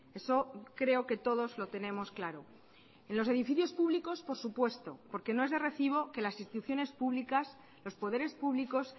eso creo que todos lo tenemos claro en los edificios públicos por supuesto porque no es de recibo que las instituciones públicas los poderes públicos